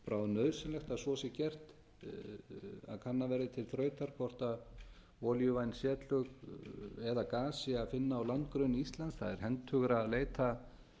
bráðnauðsynlegt að svo sé gert að kannað verði til þrautar hvort olíuvæn setlög eða gas sé að finna á landgrunni íslands það er hentugra að leita